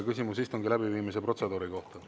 Küsimus istungi läbiviimise protseduuri kohta.